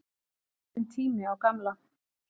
Alveg kominn tími á gamla.